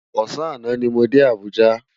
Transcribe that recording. Òsàn àná ni mó dé Abuja